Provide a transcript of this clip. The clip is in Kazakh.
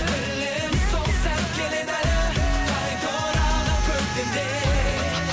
білемін сол сәт келеді әлі қайта оралған көктемдей